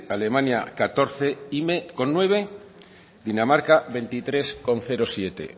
alemania catorce coma nueve dinamarca veintitrés coma siete